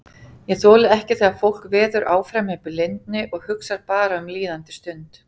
Ég þoli ekki þegar fólk veður áfram í blindni og hugsar bara um líðandi stund.